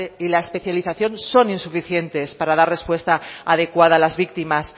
y la especialización son insuficientes para dar respuesta adecuada a las víctimas